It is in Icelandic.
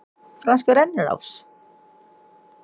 Franskur rennilás?